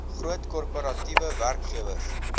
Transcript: groot korporatiewe werkgewers